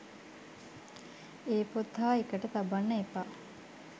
ඒ පොත් හා එකට තබන්න එපා